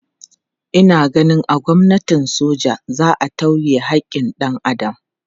Ina ganin a gwamnatin soja za a tauye haƙƙin dan Adam.